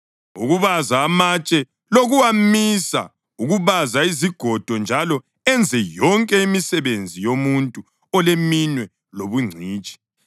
ukubaza amatshe lokuwamisa, ukubaza izigodo njalo enze yonke imisebenzi yomuntu oleminwe lobungcitshi.